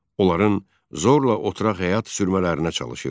Onların zorla oturaq həyat sürmələrinə çalışırdı.